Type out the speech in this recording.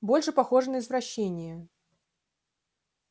больше похоже на извращение